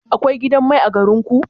Akwai gidan mai a garin ku?